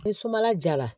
Ni sumala jara